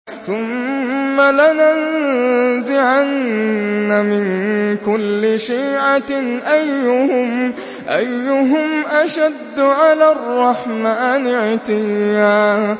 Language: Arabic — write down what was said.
ثُمَّ لَنَنزِعَنَّ مِن كُلِّ شِيعَةٍ أَيُّهُمْ أَشَدُّ عَلَى الرَّحْمَٰنِ عِتِيًّا